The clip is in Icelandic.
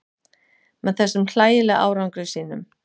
Með þessum hlægilega árangri sínum.